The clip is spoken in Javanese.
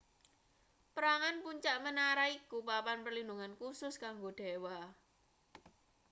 perangan puncak menara iku papan perlindhungan khusus kanggo dewa